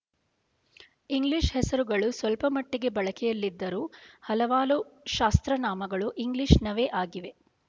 English ಹೆಸರುಗಳು ಸ್ವಲ್ಪಮಟ್ಟಿಗೆ ಬಳಕೆಯಲ್ಲಿದ್ದರೂ ಹಲವಾರು ಶಾಸ್ತ್ರನಾಮಗಳು ಇಂಗ್ಲೀಷ್ ನವೇ ಆಗಿವೆ